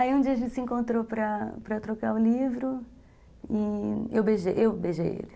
Aí um dia a gente se encontrou para para trocar o livro e eu eu beijei ele.